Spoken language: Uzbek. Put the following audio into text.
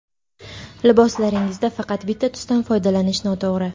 Liboslaringizda faqat bitta tusdan foydalanish noto‘g‘ri.